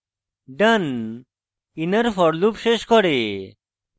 done inner for loop শেষ করে